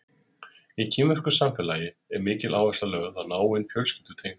Í kínversku samfélagi er mikil áhersla lögð á náin fjölskyldutengsl.